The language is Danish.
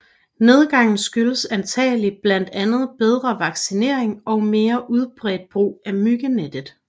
Nedgangen skyldes antagelig blandt andet bedre vaccinering og mere udbredt brug af myggenet